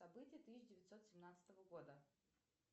события тысяча девятьсот семнадцатого года